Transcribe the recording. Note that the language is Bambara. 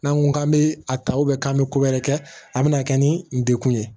N'an ko k'an bɛ a ta k'an bɛ ko wɛrɛ kɛ a bɛna kɛ ni degun ye